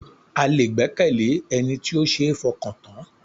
A lè gbẹ́kẹ̀lé Ẹni tí ó ṣe ń fọkàn tán.